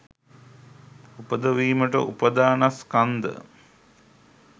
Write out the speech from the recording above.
උපදවීමට උපාදානස්කන්ධ